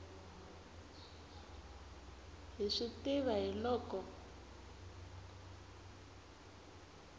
hi swi tiva hi loko